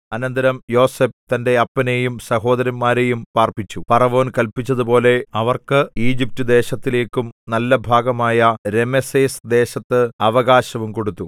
അനന്തരം യോസേഫ് തന്റെ അപ്പനെയും സഹോദരന്മാരെയും പാർപ്പിച്ചു ഫറവോൻ കല്പിച്ചതുപോലെ അവർക്ക് ഈജിപ്റ്റുദേശത്തിലേക്കും നല്ല ഭാഗമായ രമെസേസ് ദേശത്ത് അവകാശവും കൊടുത്തു